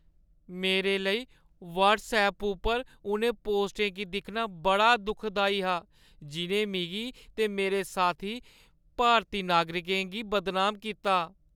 मेरे लेई व्हट्सऐप उप्पर उ'नें पोस्टें गी दिक्खना बड़ा दुखदाई हा जि'नें मिगी ते मेरे साथी भारती नागरिकें गी बदनाम कीता।